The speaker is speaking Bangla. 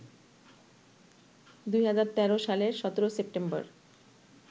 ২০১৩ সালের ১৭ সেপ্টেম্বর